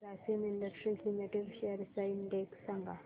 Grasim industries limited shares चा index सांगा